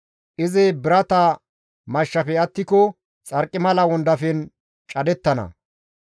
Izi birata mashshafe attiko xarqimala wondafen cadettana.